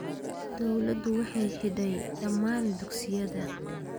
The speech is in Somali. Dawladdu waxay xidhay dhammaan dugsiyada